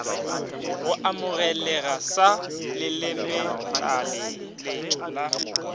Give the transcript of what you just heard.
go amogelega sa lelemetlaleletšo la